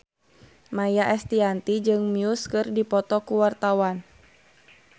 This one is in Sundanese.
Maia Estianty jeung Muse keur dipoto ku wartawan